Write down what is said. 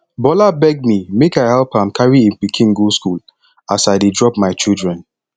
bola beg me make i help am carry im pikin go school as i dey drop my children